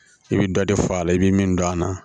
I bɛ dɔ de fɔ a la i bɛ min don a la